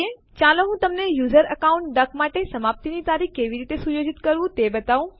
ચાલો હું તમને યુઝર અકાઉન્ટ ડક માટે સમાપ્તિ ની તારીખ કેવી રીતે સુયોજિત કરવું તે બતાઉ